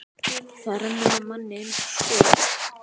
Það rennur af manni eins og skot.